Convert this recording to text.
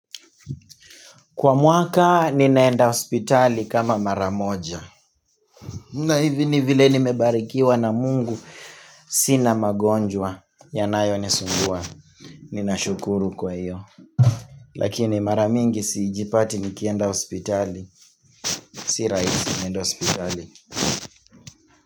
Kwa mwaka ninaenda hospitali kama mara moja. Na hivi ni vile nimebarikiwa na mungu, sina magonjwa. Yanayonisumbua. Ninashukuru kwa hiyo. Lakini mara mingi sijipati nikienda hospitali. Si rahisi niende hospitali.